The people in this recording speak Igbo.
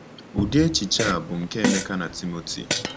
Ụdị echiche a bụ nke Emeka na Timoti.